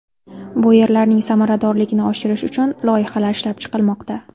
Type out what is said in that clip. Bu yerlarning samaradorligini oshirish uchun loyihalar ishlab chiqilmoqda.